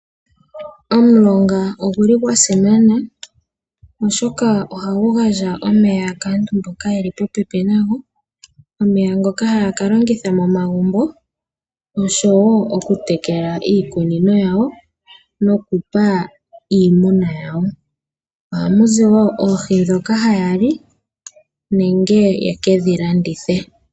Omulonga oguli gwa simana oshoka ohagu gandja omeya kaantu mboka yeli popepi nago . Omeya ngoka haya ka longitha momagumbo oshowo oku tekela iikunino yawo nokupa iimuna yawo ohamuziwo oohi ndhoka haya li nenge yekedhi landithepo.